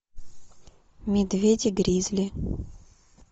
медведи гризли